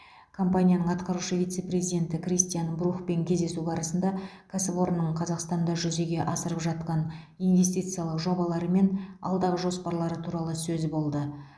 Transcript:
компаниясының атқарушы вице президенті кристиан брухпен кездесу барысында кәсіпорынның қазақстанда жүзеге асырып жатқан инвестициялық жобалары мен алдағы жоспарлары туралы сөз болды